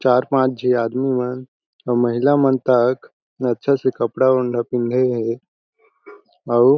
चार पांच झी आदमी मन अउ महिला मन तक अच्छा से कपड़ा उन्धा पींधे हे अउ--